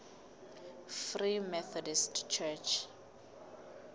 free methodist church